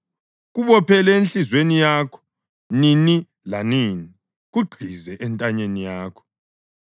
Kubophele enhliziyweni yakho nini lanini; kugqize entanyeni yakho.